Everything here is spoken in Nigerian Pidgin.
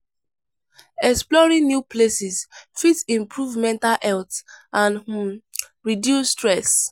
Exploring new places fit improve mental health and um reduce stress.